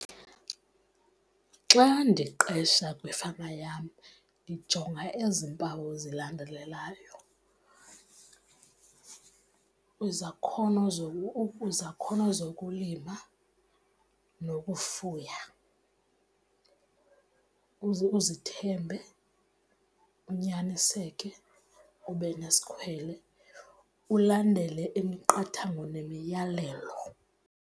Xa ndiqesha kwifama yam ndijonga ezi mpawu zilandelelayo, izakhono , izakhono zokulima nokufuya, uzithembe, unyaniseke, ube nesikhwele, ulandele imiqathango nemiyalelo.